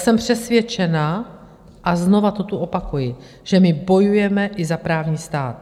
Jsem přesvědčená, a znovu to tu opakuji, že my bojujeme i za právní stát.